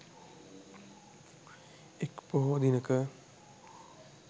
එක් පොහෝ දිනක